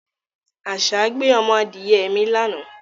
Àṣá gbé ọmọ adìye mi lánàá